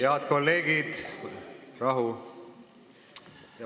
Head kolleegid, rahu!